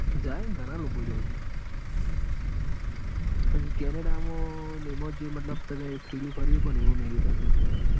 લ્યા જાય ન ઘણા લોકો જાય ત્યાં. હમ કેનેડા માં એમાં ન જે મતલબ તમે ફરી એકો એવું નઈ એ .